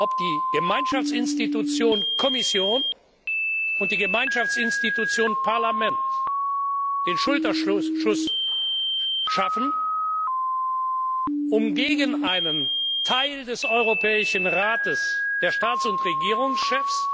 ob die Gemeinschaftsinstitution Kommission und die Gemeinschaftsinstitution Parlament den Schulterschluss schaffen, um gegen einen Teil des Europäischen Rates der Staats und Regierungschefs